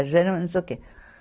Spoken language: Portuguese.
A gema não sei o quê.